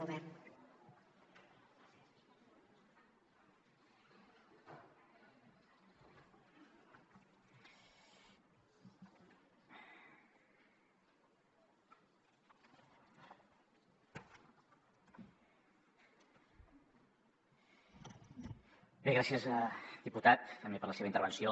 gràcies diputat també per la seva intervenció